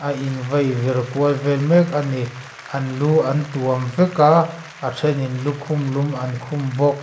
a in vaivir kual vel mek ani an lu an tuam vek a a ṭhen in lukhum lum an khum bawk.